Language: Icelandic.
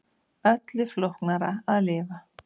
Öllu flóknara að lifa.